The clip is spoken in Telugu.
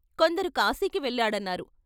కొందరు కాశీకి వెళ్ళాడన్నారు.